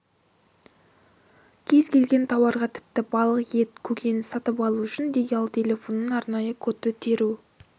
кез келген тауарға тіпті балық ет көкөніс сатып алу үшін де ұялы телефоннан арнайы кодты теру